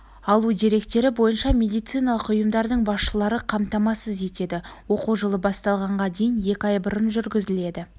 алу деректері бойынша медициналық ұйымдардың басшылары қамтамасыз етеді оқу жылы басталғанға дейін екі ай бұрын жүргізіледі